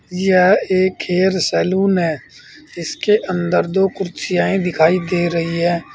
यह एक hair salon है इसके अंदर दो कुर्सियां दिखाई दे रही है।